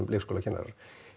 leikskólakennarar